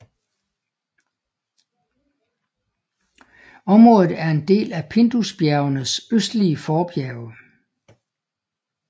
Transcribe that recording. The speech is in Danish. Området er en del af Pindusbjergenes østlige forbjerge